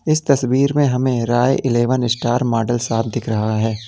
इस तस्वीर में हमें Rai eleven star model shop दिख रहा है।